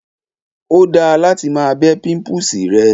Ó da láti má bẹ́ pímpúsì rẹ.